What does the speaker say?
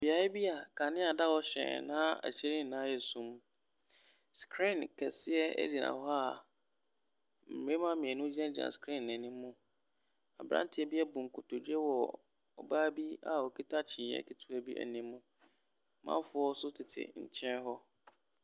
Beaeɛ bi a kanea da hɔ hyerɛnn na aseɛ nyinaa yɛ sum. Screen kɛseɛ gyina hɔ a mmarima mmienu gyinagyina screen no anim. Aberanteɛ bi abu nkotodwe wɔ ɔbaa bi a ɔkuta kyiniiɛ ketewa bi anim. Amanfoɔ nso tete nkyɛn hɔ.